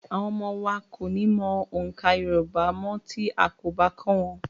Àwọn ọmọ wa kò ní mọ oǹkà Yorùbá mọ́ tí a kò bá kọ́ wọn.